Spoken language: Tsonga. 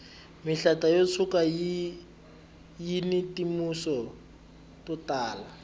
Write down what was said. mihlata yo tshuka yini timitsu to tala